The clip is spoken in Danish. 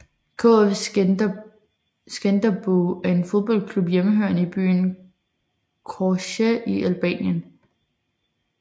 KF Skënderbeu er en fodboldklub hjemmehørende i byen Korçë i Albanien